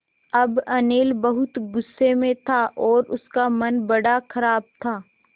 अब अनिल बहुत गु़स्से में था और उसका मन बड़ा ख़राब था